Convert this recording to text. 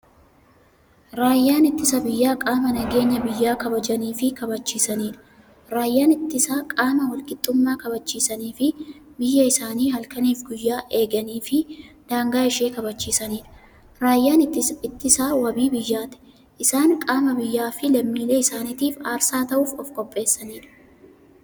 Raayyaan ittisa biyyaa qaama nageenya biyya kabajaniifi kabachiisaniidha. Raayyaan ittisaa qaama walqixxummaa kabachisaniifi biyyaa isaanii halkaniif guyyaa eeganiifi daangaa ishee kabachiisaniidha. Raayyaan ittisaa waabii biyyaati. Isaan qaama biyyaafi lammiilee isaanitiif aarsaa ta'uuf ofqopheessaniidha.